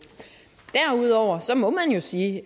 derudover må man jo sige